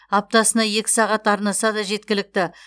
аптасына екі сағат арнаса да жеткілікті